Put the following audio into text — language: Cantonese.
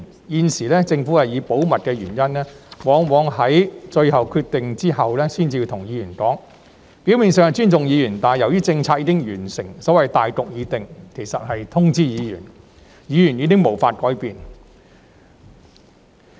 現時，政府以保密理由，往往在作出最後決定後才跟議員商討，表面上是尊重議員，但由於政策已經訂立，所謂"大局"已定，只是通知議員，其實已經無法改變。